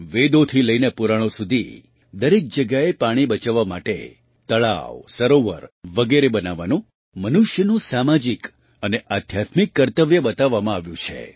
વેદોથી લઈને પુરાણો સુધી દરેક જગ્યાએ પાણી બચાવવા માટે તળાવ સરોવર વગેરે બનાવવાને મનુષ્યનું સામાજિક અને આધ્યાત્મિક કર્તવ્ય બતાવવામાં આવ્યું છે